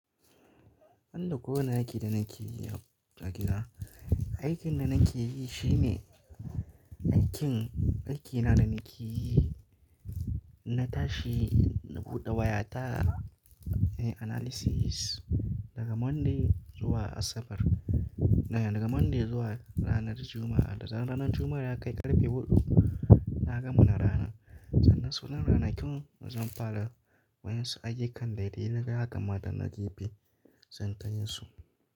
An da kowane aiki da nake yi a, a gida. Aikin da nake yi shine, aikin, aikina da nake yi, na tashi na buɗe wayata, yi analysis daga Monday zuwa Asabar. Daga Monday zuwa ranar Juma'a. Da zan ranar Juma'a ya kai ƙarfe huɗu, na gama na rana. Sannan su wannan ranakun zan fara wadansu ayyukan dai dai na kama danna gife zan kayi su.